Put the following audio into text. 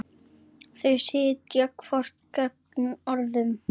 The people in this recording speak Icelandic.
Þau sitja hvort gegnt öðru.